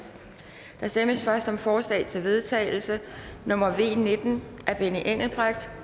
der stemmes først om forslag til vedtagelse nummer v nitten af benny engelbrecht